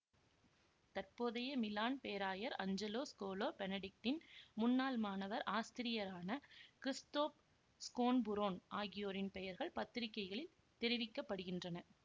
தற்போதைய மிலான் பேராயர் Angelo Scola பெனடிக்டின் முன்னாள் மாணவர் ஆஸ்திரியரான கிறிஸ்தோப் ஸ்கோன்புரொன் ஆகியோரின் பெயர்கள் பத்திரிகைகளில் தெரிவிக்கப்படுகின்றன